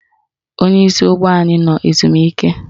Onyeisi ụgbọ anyị nọ ezumike